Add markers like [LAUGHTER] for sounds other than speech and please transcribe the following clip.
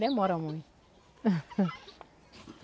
Demora, muito. [LAUGHS]